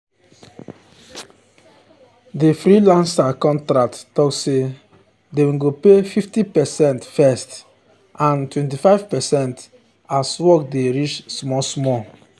di freelancer contract talk say dem go pay 50 percent first and 25 percent as work dey reach small-small.